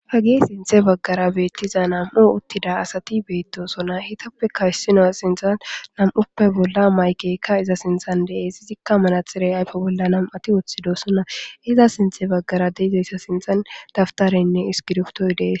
ha gi sinthe baggara beettiza nam7u uttida asati beettosona hitappekka yssino sinthan nam7uppe bolla maykeykka iza sinthan de7es sizikka manatxirey ayfe bolla nam7ati woththidossona iza sinthe baggara deizayssa sinthan daftarenne iskiriftoy dees